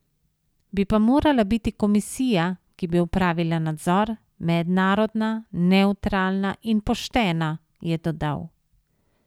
Bi pa morala biti komisija, ki bi opravila nadzor, mednarodna, nevtralna in poštena, je dodal.